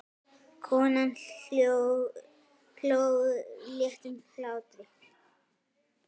Konan hló léttum hlátri.